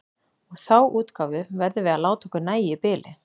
Og þá útgáfu verðum við að láta okkur nægja í bili.